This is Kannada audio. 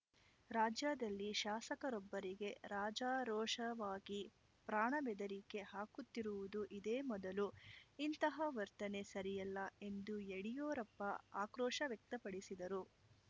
ರಾಜ್ಯದಲ್ಲಿ ಶಾಸಕರೊಬ್ಬರಿಗೆ ರಾಜಾರೋಷವಾಗಿ ಪ್ರಾಣಬೆದರಿಕೆ ಹಾಕುತ್ತಿರುವುದು ಇದೇ ಮೊದಲು ಇಂತಹ ವರ್ತನೆ ಸರಿಯಲ್ಲ ಎಂದು ಯಡಿಯೂರಪ್ಪ ಆಕ್ರೋಶ ವ್ಯಕ್ತಪಡಿಸಿದರು